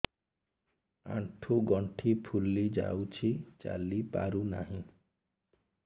ଆଂଠୁ ଗଂଠି ଫୁଲି ଯାଉଛି ଚାଲି ପାରୁ ନାହିଁ